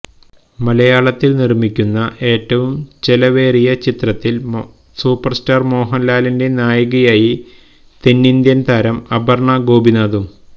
മലയാളത്തിൽ നിർമിക്കുന്ന ഏറ്റവും ചെലവേറിയ ചിത്രത്തിൽ സൂപ്പർസ്റ്റാർ മോഹൻലാലിന്റെ നായികയായി തെന്നിന്ത്യൻ താരം അപർണ ഗോപിനാഥും